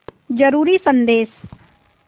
ज़रूरी संदेश